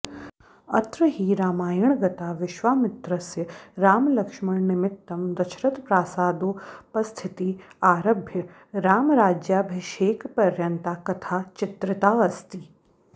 अत्र हि रामायणगता विश्वामित्रस्य रामलक्ष्मणनिमित्तं दशरथप्रासादोपस्थितित आरभ्य रामराज्याभिषेकपर्यन्ता कथा चित्रिताऽस्ति